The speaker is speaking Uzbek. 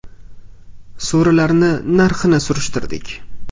So‘rilarni narxini surishtirdik.